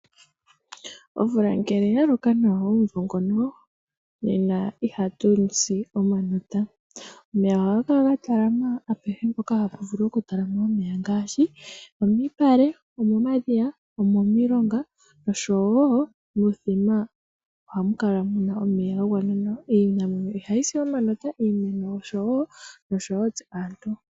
Omvula ngele ya loka nawa omuvo ngono, Nena Iha tu si omanota. Omeya oha ga kala ga talama, apehe mpoka ha pa value oku calamari omeya ngaashi, omiipale, omomadhiya, omomilonga osho woo muuthima oha mu kala mana omeya ga gwana nawa iinamwenyo, iimeno posho woo tse aantu.